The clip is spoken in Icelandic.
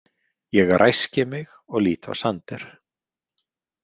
Ég ræski mig og lít á Sander.